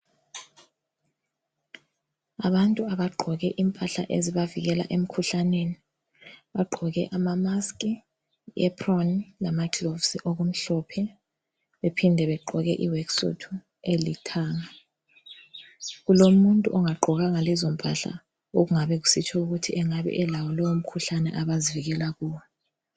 Abantu abagqoke impahla ezibavikela emkhuhlaneni. Bagqoke ama maski, aproan lama gloves okumhlophe. Bephinde bagqoke iwork suit elithanga. Kulomuntu ongagqokanga lezo mpahla okungabe kusitsho ukuthi engabe elawo lowo mkhuhlane abazivikela kuwo.